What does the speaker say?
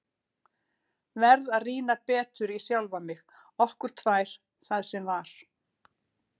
Verð að rýna betur í sjálfa mig, okkur tvær, það sem var.